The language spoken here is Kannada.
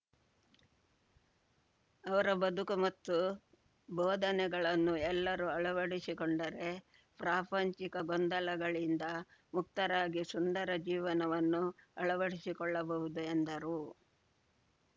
ಅವರ ಬದುಕು ಮತ್ತು ಬೋಧನೆಗಳನ್ನು ಎಲ್ಲರೂ ಅಳವಡಿಸಿಕೊಂಡರೆ ಪ್ರಾಪಂಚಿಕ ಗೊಂದಲಗಳಿಂದ ಮುಕ್ತರಾಗಿ ಸುಂದರ ಜೀವನವನ್ನು ಅಳವಡಿಸಿಕೊಳ್ಳಬಹುದು ಎಂದರು